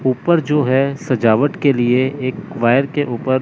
ऊपर जो है सजावट के लिए एक वायर के ऊपर--